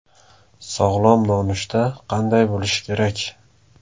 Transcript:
Sog‘lom nonushta qanday bo‘lishi kerak?